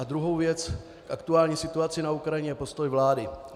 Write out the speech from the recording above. A druhá věc - k aktuální situaci na Ukrajině a postoj vlády.